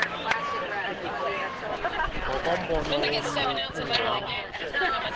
ngokombono wommi ingxam